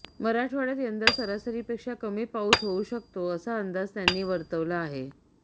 मराठवाड्यात यंदा सरासरीपेक्षा कमी पाऊस होऊ शकतो असा अंदाज त्यांनी वर्तवला आहे